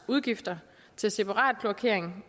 udgifter til separat kloakering